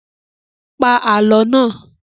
Pa Àlọ́ náà!